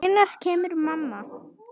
Hvenær kemur mamma?